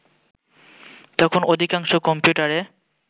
তখন অধিকাংশ কম্পিউটারে